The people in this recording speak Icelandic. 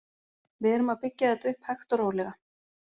Við erum að byggja þetta upp hægt og rólega.